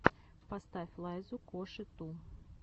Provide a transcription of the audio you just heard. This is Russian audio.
поставь лайзу коши ту